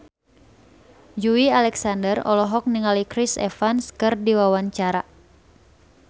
Joey Alexander olohok ningali Chris Evans keur diwawancara